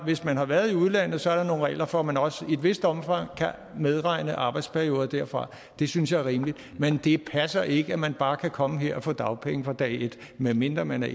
hvis man har været i udlandet er der nogle regler for at man også i et vist omfang kan medregne arbejdsperioder derfra det synes jeg er rimeligt men det passer ikke at man bare kan komme her og få dagpenge fra dag et medmindre man er